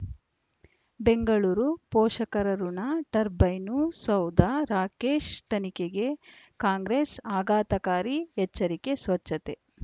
ಬೆಂಗಳೂರು ಪೋಷಕರಋಣ ಟರ್ಬೈನು ಸೌಧ ರಾಕೇಶ್ ತನಿಖೆಗೆ ಕಾಂಗ್ರೆಸ್ ಆಘಾತಕಾರಿ ಎಚ್ಚರಿಕೆ ಸ್ವಚ್ಛತೆ